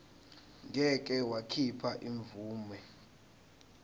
ngeke wakhipha imvume